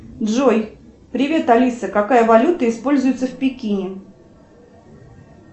джой привет алиса какая валюта используется в пекине